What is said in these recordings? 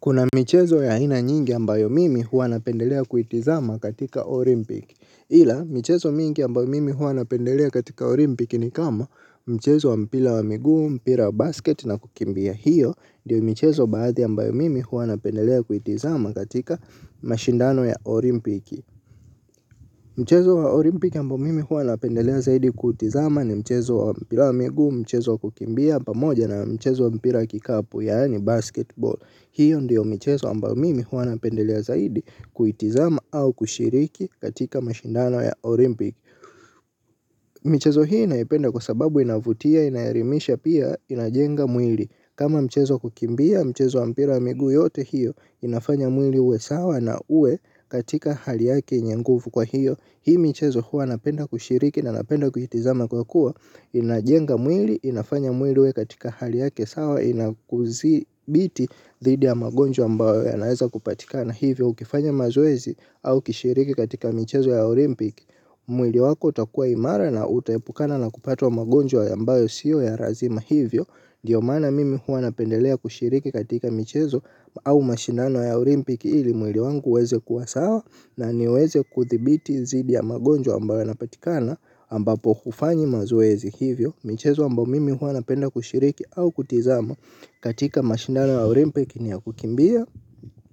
Kuna michezo ya aina nyingi ambayo mimi hua napendelea kuitizama katika olimpiki. Hila michezo mingi ambayo mimi hua napendelea katika olimpiki ni kama mchezo wa mpila wa migu, mpila wa basket na kukimbia. Hiyo ndiyo michezo badhi ambayo mimi hua napendelea kuitizama katika mashindano ya olimpiki. Mchezo wa olimpiki ambayo mimi hua napendelea zaidi kuitizama ni mchezo wa mpila wa migu, mchezo wa kukimbia pamoja na mchezo wa mpila kikapu yaani basketball. Hiyo ndiyo michezo ambayo mimi huwa napendelea zaidi kuitizama au kushiriki katika mashindano ya Olympic. Michezo hii naipenda kwa sababu inavutia inayaelimisha pia inajenga mwili. Kama michezo kukimbia michezo wa mpira wa migu yote hiyo inafanya mwili uwe sawa na uwe katika hali yake yenye ngufu kwa hiyo hii michezo huwa napenda kushiriki na napenda kuitizama kwa kuwa inajenga mwili inafanya mwili uwe katika hali yake sawa inakuzibiti dhidi ya magonjwa ambayo yanaeza kupatikana hivyo ukifanya mazoezi au kushiriki katika michezo ya olimpiki. Mwili wako utakua imara na utaepukana na kupatwa magonjwa ambayo siyo ya razima hivyo ndio mana mimi huwa napendelea kushiriki katika michezo au mashindano ya olimpiki ili mwili wangu uweze kuwa sawa na niweze kuthibiti dhidi ya magonjwa ambayo napatikana ambapo kufanyi mazoezi hivyo michezo ambao mimi huwa napenda kushiriki au kutizama katika mashindano ya olimpiki ni ya kukimbia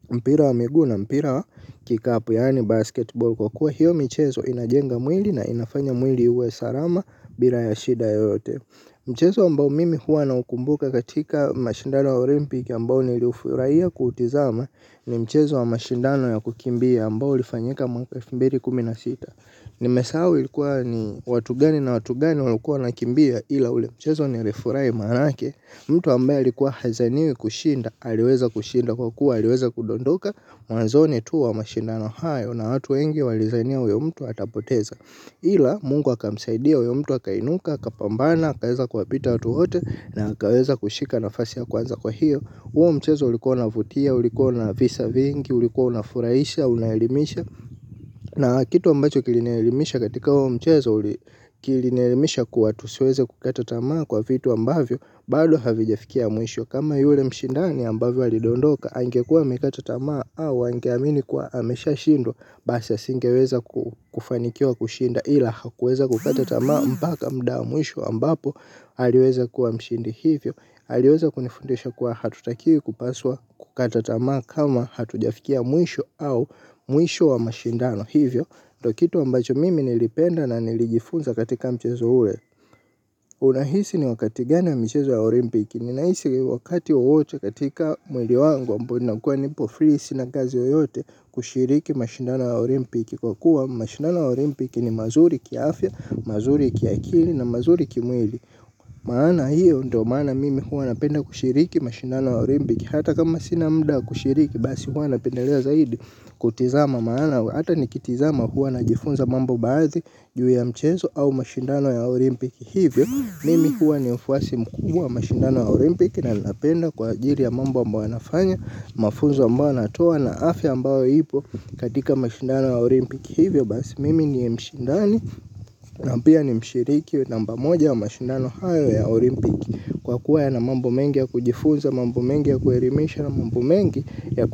mpira wa migu na mpira wa kick up yaani basketball kwa kuwa hiyo michezo inajenga mwili na inafanya mwili uwe sarama bila yashida yoyote. Mchezo wambao mimi huwa naukumbuka katika mashindano wa olimpiki ambao nilifuraiya kutizama ni mchezo wa mashindano ya kukimbia ambao lifanyika mwaka wa elfu mbili kumi na sita. Nimesahau ilikuwa ni watu gani na watu gani walikuwa wanakimbia ila ule mchezo nilifurahi maanake. Mtu ambayo likuwa hazaniwi kushinda aliweza kushinda kwa kuwa aliweza kudondoka. Mwanzoni tu wa mashindano hayo na watu wengi walizania uyo mtu atapoteza. Ila mungu akamsaidia, uyo mtu akainuka, kapambana, kaweza kuwapita watu wote na kaweza kushika nafasi ya kwanza kwa hiyo uo mchezo ulikuwa unavutia, ulikuwa na visa vingi, ulikuwa na furahisha, unaelimisha. Na kitu ambacho kilinielimisha katika uo mchezo kilinielimisha kuwa tusiweze kukata tamaa kwa vitu ambavyo bado havijafikia mwisho kama yule mshindani ambavyo alidondoka angekuwa amekata tamaa au angeamini kwa ameshashindwa basi asingeweza kufanikiwa kushinda ila hakuweza kukata tamaa mpaka mudaa mwisho ambapo aliweza kuwa mshindi hivyo aliweza kunifundisha kuwa hatutakiwi kupaswa kukata tamaa kama hatujafikia mwisho au mwisho wa mashindano hivyo ndio kitu ambacho mimi nilipenda na nilijifunza katika mchezo ule unahisi ni wakati gani mchezo ya olimpiki. Ninaisi wakati wowote katika mwili wangu ambao nakuwa nipo free sina kazi yoyote kushiriki mashindano ya olimpiki. Kwa kuwa mashindano ya olimpiki ni mazuri kiafya, mazuri kiakili na mazuri kimwili. Maana hiyo ndo maana mimi huwa napenda kushiriki mashindano ya olimpiki. Hata kama sina muda kushiriki basi huwa napendalea zaidi kutizama maana hata nikitizama huwa najifunza mambo baadhi juu ya mchenzo au mashindano ya olimpiki. Hivyo, mimi huwa ni mfuasi mkubwa wa mashindano wa olympiki na napenda kwa ajili ya mambo ambayo wanafanya. Mafunzo ambayo wanatoa na afya ambayo ipo katika mashindano ya olympiki. Hivyo basi, mimi ni mshindani na pia ni mshiriki namba moja wa mashindano hayo ya olympiki. Kwa kuwa yana mambo mengi ya kujifunza, mambo mengi ya kuelimisha na mambo mengi ya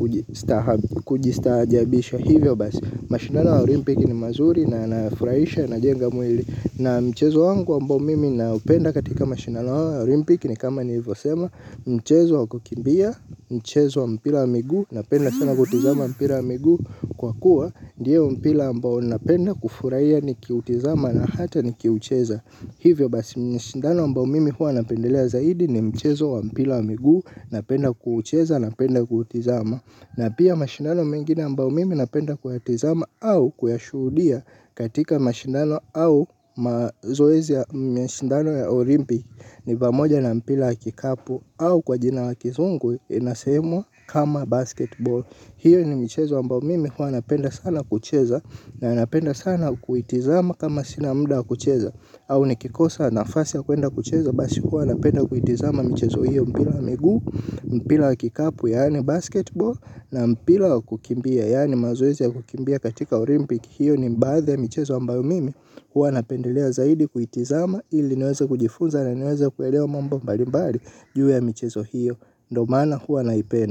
kujistajabisha. Hivyo basi, mashindano wa olympiki ni mazuri na yanafraisha najenga mwili. Na mchezo wangu ambao mimi naupenda katika mashindano wa olimpiki ni kama nilivyosema mchezo wa kukimbia, mchezo wa mpira wa miguu napenda sana kutizama wa mpira wa miguu kwa kuwa ndiyo mpira ambao napenda kufuraia nikiutizama na hata nikiucheza. Hivyo basi mashindano ambao mimi huwa napendelea zaidi ni mchezo wa mpira wa miguu napenda kuucheza napenda kuutizama. Na pia mashindano mengine ambayo mimi napenda kuyatizama au kuyashudia katika mashindano au mazoezi mashindano ya olimpiki ni pamoja na mpira kikapu au kwa jina la kizungu inasemwa kama basketball. Hiyo ni michezo ambayo mimi hua napenda sana kucheza na napenda sana kuitizama kama sina muda wa kucheza. Au nikikosa nafasi ya kuenda kucheza basi hua napenda kuitizama mchezo hiyo mpira miguu mpira kikapu yaani basketball. Na mpira kukimbia yaani mazoezi ya kukimbia katika olimpiki hiyo ni baadhi ya michezo ambayo mimi hua napendelea zaidi kuitizama ili niweze kujifunza na niweze kuelewa mambo mbali mbali juu ya mchezo hiyo. Ndio maana hua naipenda.